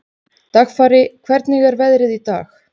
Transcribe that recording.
Dagfari, hvernig er veðrið í dag?